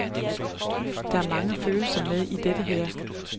Der er mange følelser med i dette her.